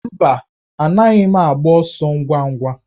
Mba, anaghị m agba ọsọ ngwa ngwa